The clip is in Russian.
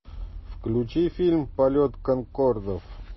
включи фильм полет конкордов